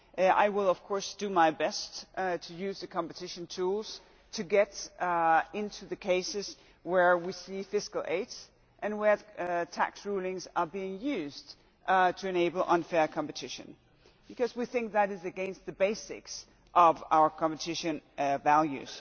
I will of course do my best to use the competition tools to get into the cases where we see fiscal aid and where tax rulings are being used to enable unfair competition because we think that is against the basis of our competition values.